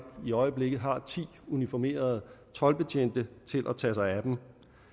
i øjeblikket har ti uniformerede toldbetjente til at tage sig af dem